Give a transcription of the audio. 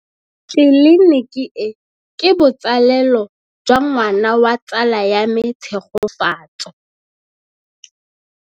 Tleliniki e, ke botsalêlô jwa ngwana wa tsala ya me Tshegofatso.